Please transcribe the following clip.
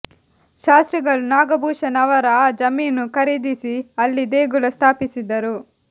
ಶಾಸ್ತ್ರಿಗಳು ನಾಗಭೂಷಣ ಅವರ ಆ ಜಮೀನು ಖರೀದಿಸಿ ಅಲ್ಲಿ ದೇಗುಲ ಸ್ಥಾಪಿಸಿದರು